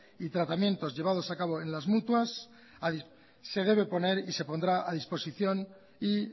y tratamientos llevados a cabo en las mutuas se debe poner y se pondrá a disposición y